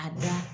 A da